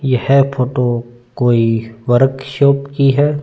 यह फोटो कोई वर्कशॉप की है।